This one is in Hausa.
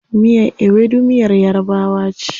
Miyar Ewedu miyar yarabawa ce.